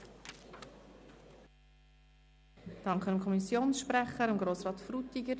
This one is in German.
Ich danke dem Kommissionssprecher Grossrat Frutiger.